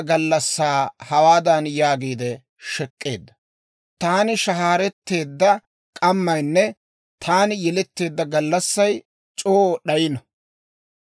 «Taani shahaaretteedda k'ammaynne taani yeletteedda gallassay c'oo d'ayino!